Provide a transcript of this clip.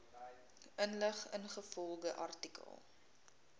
inligting ingevolge artikel